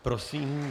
Prosím.